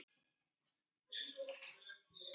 Það hlaut að vera haglél!